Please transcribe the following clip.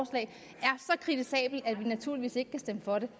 kritisabel at vi naturligvis ikke kan stemme for det